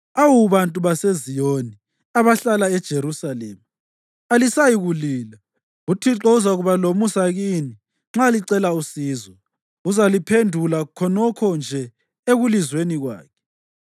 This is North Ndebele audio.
Awu bantu baseZiyoni, abahlala eJerusalema, alisayikulila. UThixo uzakuba lomusa kini nxa licela usizo. Uzaliphendula khonokho nje ekulizweni kwakhe.